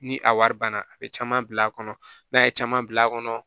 Ni a wari banna a bɛ caman bil'a kɔnɔ n'a ye caman bil'a kɔnɔ